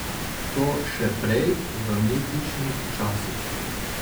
To še prej, v mitičnih časih.